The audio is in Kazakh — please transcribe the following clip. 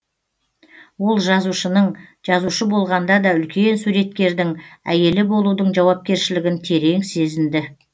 ол жазушының жазушы болғанда да үлкен суреткердің әйелі болудың жауапкершілігін терең сезінді